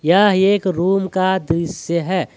यह एक रूम का दृश्य है।